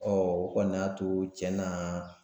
o kɔni y'a to tiɲɛ na